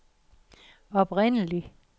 oprindelig